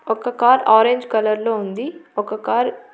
ఒక car orange colour లో ఉంది. ఒక కార్ --